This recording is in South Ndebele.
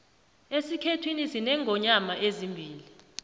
esikhethwini sinengonyoma ezimbili